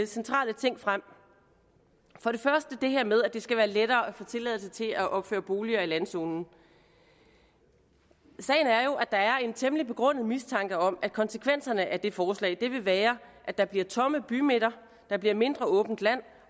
centrale ting frem for det første det her med at det skal være lettere at få tilladelse til at opføre boliger i landzonen sagen er jo at der er en temmelig begrundet mistanke om at konsekvenserne af det forslag vil være at der bliver tomme bymidter at der bliver mindre åbent land